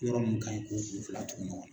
Yɔrɔ min ka ɲi k'o kun fila tugu ɲɔgɔn na.